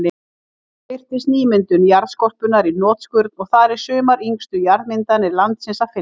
Þarna birtist nýmyndun jarðskorpunnar í hnotskurn, og þar er sumar yngstu jarðmyndanir landsins að finna.